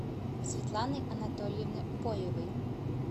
светланы анатольевны боевой